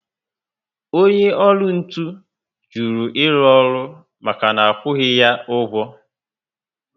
Onye ọkụ ntụ juru iru ọrụ maka na akwughi ya ụgwọ